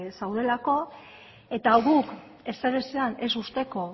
zeudelako eta guk ezer ezean ez uzteko